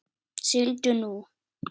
Sigldu nú.